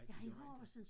Nej han gør inte